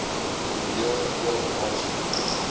oorweeg ook aansoeke